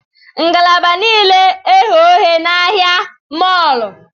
Ngalaba niile eghe oghe na ahịa mọọlụ?